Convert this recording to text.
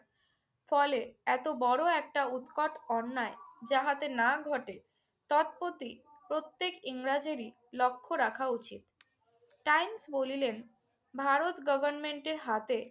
ফলে এতো বড় একটা উৎকট অন্যায় যাহাতে না ঘটে তৎপতি প্রত্যেক ইংরেজেরই লক্ষ্য রাখা উচিৎ। টাইমস বলিলেন, ভারত গভর্মেন্টের হাতে